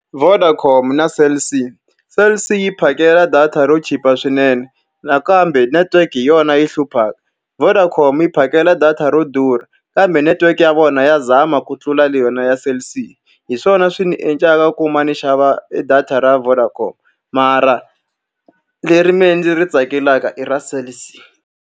Vodacom na Cell C. Cell C yi phakela data ro chipa swinene, nakambe network hi yona yi hluphaka. Vodacom yi phakela data ro durha, kambe network ya vona yona ya zama ku tlula le yona ya Cell C. Hi swona swi ndzi endlaka ku va ni xava e data ra Vodacom, mara leri mina ndzi ri tsakelaka i ra Cell C.